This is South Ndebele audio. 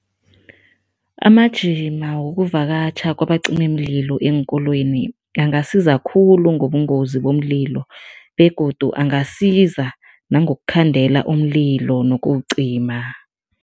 Amajima wokuvakatjha kwabacimimlilo eenkolweni angasiza khulu ngobungozi bomlilo begodu angasiza nangokukhandela umlilo nokuwucima.